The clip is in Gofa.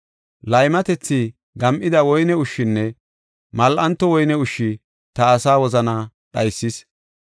Laymatethi, gam7ida woyne ushshinne mal7anto woyne ushshi ta asaa wozanaa dhaysis.